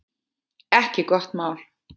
Ekki gott mál!